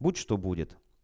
будь что будет